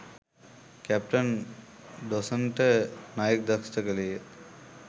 captain ඩෝසන්ට නයෙක් දෂ්ඨ කළේය